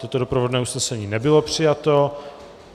Toto doprovodné usnesení nebylo přijato.